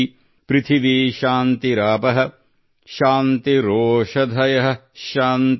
ಪೃಥಿವೀಶಾಂತಿರಾಪಃಶಾಂತಿರೋಷಧಯಃಶಾಂತಿಃ|